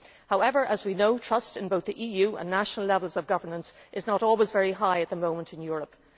However, as we know, trust in both the EU and national levels of governance is not always very high at the moment in Europe.